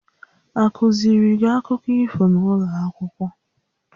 A kụziiri gị akụkọ ifo n'ụlọ akwụkwọ?